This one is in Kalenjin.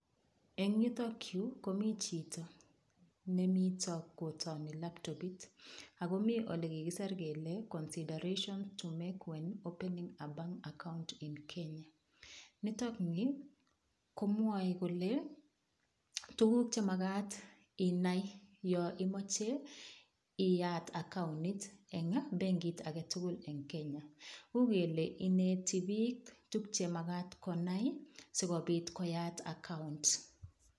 Eng' yutokyu komi chito nemito kotoni laptopit akomi ole kikiser kele consideration to make when opening a bank account in Kenya nitokni komwoei kole tukuk chemakat inai yo imoche iyat accounit eng' benkit ake tugul eng' Kenya uu kele ineti biik tukchemakat konai sikobit koyait account